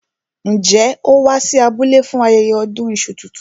Njẹ́ ó wá sí abúlé fún ayẹyẹ ọdún iṣu tuntun?